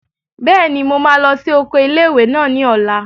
Bẹ́ẹ̀ni, mo máa lọ sí oko ilé-ìwé náà ní ọ̀la